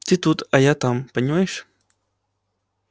ты тут а я там понимаешь